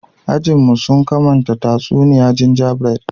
Ajin mu, sun kamanta tatsuniya gingerbread.